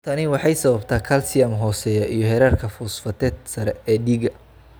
Tani waxay sababtaa kalsiyum hooseeya iyo heerarka fosfateet sare ee dhiigga.